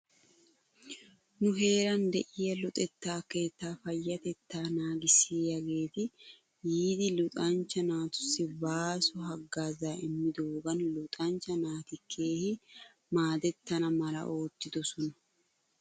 Nu heeran de'iyaa luxetta keettaa payyatettaa naagissiyaageeti yiidi luxanchcha naatussi baaso hagaazaa immidoogan luxanchcha naati keehi maadettana mala oottidosona .